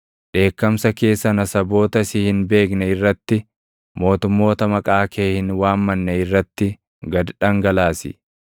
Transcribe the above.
Dheekkamsa kee sana saboota si hin beekne irratti, mootummoota maqaa kee hin waammanne irratti // gad dhangalaasi;